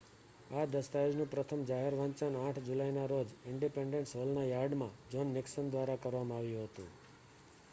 આ દસ્તાવેજનું પ્રથમ જાહેર વાંચન 8 જુલાઇના રોજ ઈંડિપેંડન્સ હૉલના યાર્ડમાં જોન નિકસન દ્વારા કરવામાં આવ્યું હતું